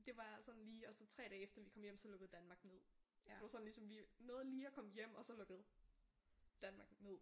Det var sådan lige og så 3 dage efter vi kom hjem så lukkede Danmark ned så det var sådan ligesom vi nåede lige at komme hjem og så lukkede Danmark ned